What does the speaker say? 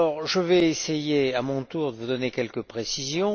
Je vais essayer, à mon tour, de vous donner quelques précisions.